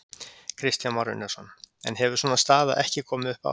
Kristján Már Unnarsson: En hefur svona staða ekki komið upp áður?